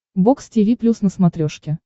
бокс тиви плюс на смотрешке